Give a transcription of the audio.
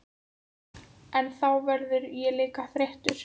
En þá verð ég líka þreyttur.